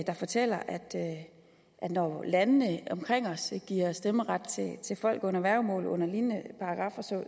der fortæller at når landene omkring os giver stemmeret til folk under værgemål under lignende paragraffer så